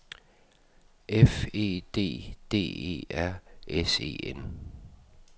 F E D D E R S E N